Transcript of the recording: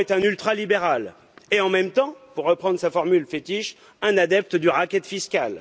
M. Macron est un ultralibéral et, en même temps, pour reprendre sa formule fétiche, un adepte du racket fiscal.